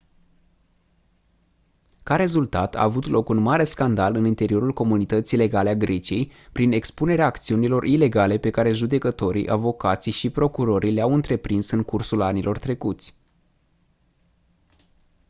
ca rezultat a avut loc un mare scandal în interiorul comunității legale a greciei prin expunerea acțiunilor ilegale pe care judecătorii avocații și procurorii le-au întreprins în cursul anilor trecuți